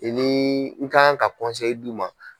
I niii n ka ka d' i ma.